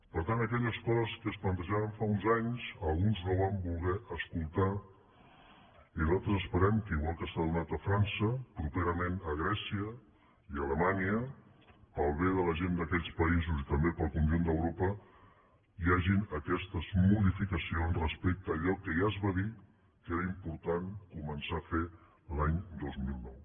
per tant aquelles coses que es plantejaven fa uns anys alguns no van voler escoltar i nosaltres esperem que igual que s’ha donat a frança properament a grècia i a alemanya pel bé de la gent d’aquells països i també per al conjunt d’europa hi hagin aquestes modificacions respecte a allò que ja es va dir que era important començar a fer l’any dos mil nou